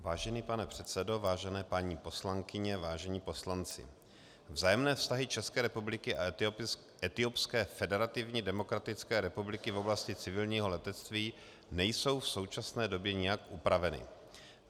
Vážený pane předsedo, vážené paní poslankyně, vážení poslanci, vzájemné vztahy České republiky a Etiopské federativní demokratické republiky v oblasti civilního letectví nejsou v současné době nijak upraveny.